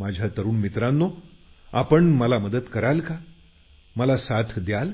माझ्या तरुण मित्रांनो तुम्ही मला मदत कराल का मला साथ द्याल